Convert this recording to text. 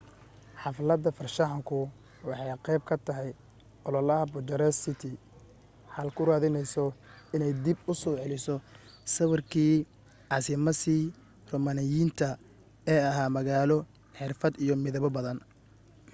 xaflada farshaxanku waxay qayb ka tahay ololaha bucharest city hall ku raadinayso inay dib u soo celiso sawirkii caasimasii roomaaniyiinta ee ahaa magaalo xirfad iyo midabo badan